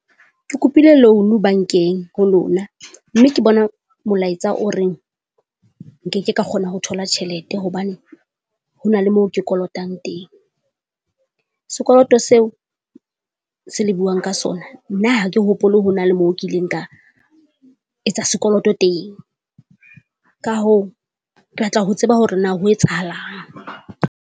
Ke kopile loan-u bankeng ho lona, mme ke bona molaetsa o reng nkeke ka kgona ho thola tjhelete hobane hona le mo ke kolotang teng. Sekoloto seo se le buang ka sona nna ha ke hopole hona le mo kileng ka etsa sekoloto teng, ka hoo, ke batla ho tseba hore na ho etsahalang.